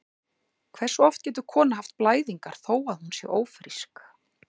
Hversu oft getur kona haft blæðingar þó að hún sé ófrísk?